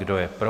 Kdo je pro?